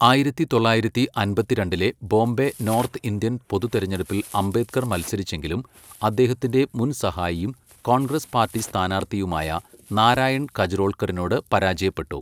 ആയിരത്തി തൊള്ളായിരത്തി അമ്പത്തിരണ്ടിലെ ബോംബെ നോർത്ത് ഇന്ത്യൻ പൊതുതെരഞ്ഞെടുപ്പിൽ അംബേദ്കർ മത്സരിച്ചെങ്കിലും അദ്ദേഹത്തിന്റെ മുൻ സഹായിയും കോൺഗ്രസ് പാർട്ടി സ്ഥാനാർത്ഥിയുമായ നാരായൺ കജ്റോൾക്കറിനോട് പരാജയപ്പെട്ടു.